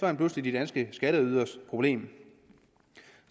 han pludselig de danske skatteyderes problem